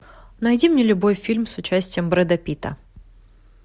найди мне любой фильм с участием брэда питта